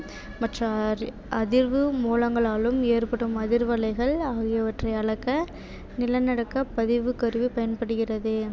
மற்ற அதிர்வு மூலங்களாலும் ஏற்படும் அதிர்வலைகள் ஆகியவற்றை அளக்க நிலநடுக்கப் பதிவுக் கருவி பயன்படுகிறது